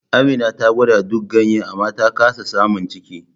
Amina ta gwada duk ganyen amma ta kasa samun ciki.